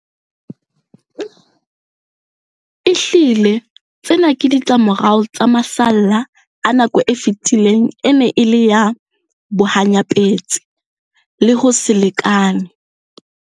Ehlile, tsena ke ditlamorao tsa masalla a nako e fetileng e neng e le ya bohanyapetsi le ho se lekane.